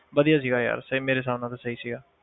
ਵਧੀਆ ਸੀਗਾ ਯਾਰ ਸਹੀ ਮੇਰੇ ਹਿਸਾਬ ਨਾਲ ਤਾਂ ਸਹੀ ਸੀਗਾ